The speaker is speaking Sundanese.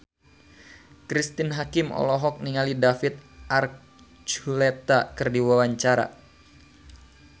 Cristine Hakim olohok ningali David Archuletta keur diwawancara